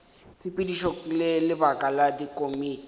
tshepedišo le lebaka la dikomiti